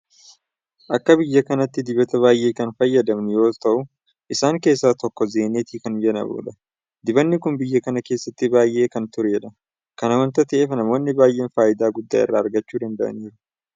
Akka biyya kanaatti dibata baay'ee kan fayyadamnu yeroo ta'u isaan keessaa tokko Zeeniit kan jedhamudha. Dibanni kun biyya kana keessatti baay'ee kan turedha. Kana waanta ta'eef namoonni baay'een faayidaa guddaa irraa argachuu danda'aniiru.